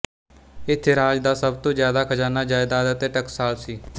ਇੱਥੇ ਰਾਜ ਦਾ ਸਭ ਤੋਂ ਜ਼ਿਆਦਾ ਖਜ਼ਾਨਾ ਜਾਇਦਾਦ ਅਤੇ ਟਕਸਾਲ ਸੀ